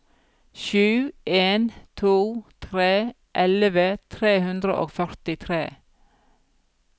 sju en to tre elleve tre hundre og førtitre